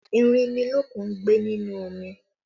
Erinmilokun ń gbé nínú omi